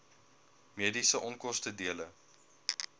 mediese onkoste dele